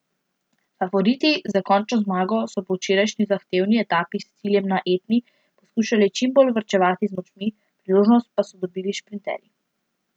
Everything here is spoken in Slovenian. Favoriti za končno zmago so po včerajšnji zahtevni etapi s ciljem na Etni poskušali čim bolj varčevati z močmi, priložnost pa so dobili šprinterji.